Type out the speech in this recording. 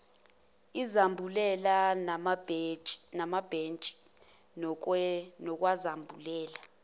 izambulela namabhentshi nokwakwenza